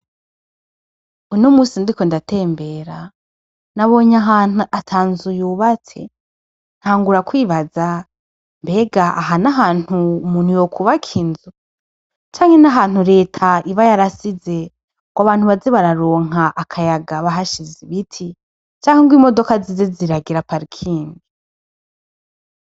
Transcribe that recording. uno munsi ndiko ndatembera nabonye ahantu ata nzu yubatse ntagura kwibaza mbega aha nahantu umuntu yokwubaka inzu canke nahantu leta iba yarasize ngo abantu baze bararonka akayaga bahashize ibiti canke imodoka zize ziragira parikingi.